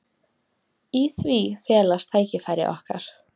Í því felast tækifæri okkar.